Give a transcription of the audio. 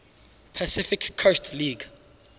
pacific coast league